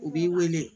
U b'i wele